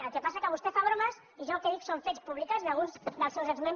el que passa és que vostè fa bromes i jo el que dic són fets publicats d’alguns dels seus exmembres del seu grup